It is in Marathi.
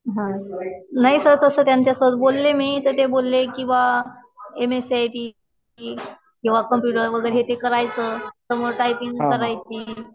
हा. नाही सर. तसं त्यांच्यासोबत बोलले मी तर ते बोलले कि बुवा M S C I T किंवा कम्प्युटर वगैरे हे ते करायचं. तर मग टायपिंग करायची.